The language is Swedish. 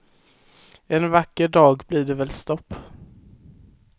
En vacker dag blir det väl stopp.